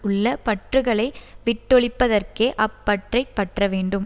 உள்ள பற்றுக்களை விட்டொழிப்பதற்கே அப் பற்றைப் பற்ற வேண்டும்